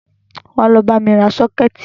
Wá lọ bámi ra sọ́kẹ̀tì wá!